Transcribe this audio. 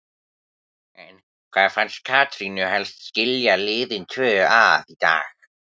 En hvað fannst Katrínu helst skilja liðin tvö að í dag?